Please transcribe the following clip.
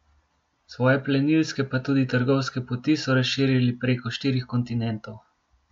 Svoje plenilske pa tudi trgovske poti so razširili preko štirih kontinentov.